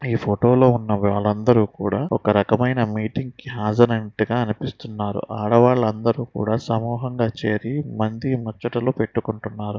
ఈ ఫోటో లో ఉన్న వాళ్ళందరూ కూడా ఒక రకమైన మీటింగ్ కి హాజరైనట్టుగా అనిపిస్తున్నారు. ఆడవాళ్ళందరూ కూడా సమూహంగా చేరి మంది మచ్చట్లు పెట్టుకుంటున్నారు.